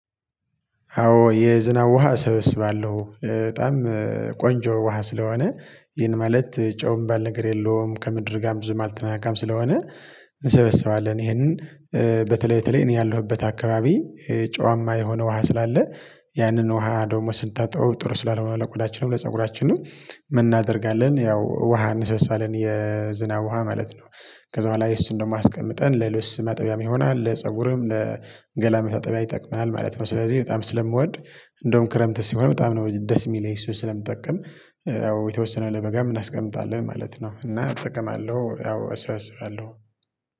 አዎ የዝናብ ውሃ እሰበስባለሁ በጣም ቆንጆ ውሃ ስለሆነ ይህን ማለት ጨውም የሚባልነገር የለውም። ከምድር ጋር ብዙ አልተነካካም ስለሆነ እንሰበሰባለን ይሄንን። በተለይ በተለይ እኔ ያለሁበት አካባቢ ጨዋማ የሆነ ውሃ ስላለ ያንን ውሃ ደግሞ ስንታጠበው ጥሩ ስላልሆነ ለቆዳችንም ለፀጉራችንም ምን እናደርጋለን ያው ውሃ እንሰበሳለን። የዝናብ ውሃ ማለት ነው ከዛ በኋላ ይሱን ደግሞ አስቀምጠን ለልብስ ማጠቢያም ይሆናል ለፀጉርም ለገላ መታጠቢያ ይጠቅማል ማለት ነው። ስለዚህ በጣም ስለምወድ እንደውም ክረምት ሲሆን በጣም ነው ደስ የሚለኝ እሱ ስለምጠቅም ያው የተወሰነ ለበጋም እናስቀምጣለን ማለት ነው። እና እጠቀማለሁ ያው እሰብስባለሁ